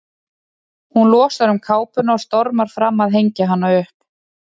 Hún losar um kápuna og stormar fram að hengja hana upp.